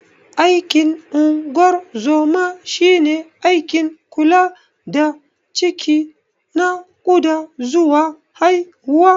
Aikin ungorzoma shine aikin kula da ciki, nakuda zuwa haihuwa.